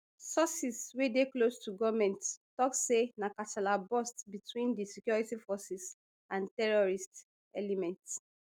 sources wey dey close to goment tok say na kasala burst between di security forces and terrorists elements